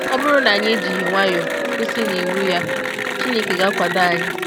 Ọ bụrụ na anyị ejighị nwayọ kwụsị n’iwu ya, Chineke ga-akwado anyị.